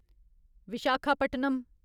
Visakhapatnam